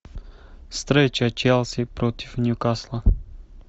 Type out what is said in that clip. встреча челси против ньюкасла